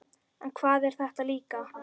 En hvað er þetta líka?